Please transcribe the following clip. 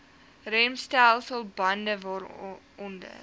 remstelsel bande waaronder